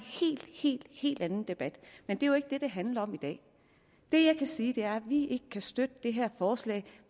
helt helt anden debat men det er jo ikke det det handler om i dag det jeg kan sige er vi ikke kan støtte det her forslag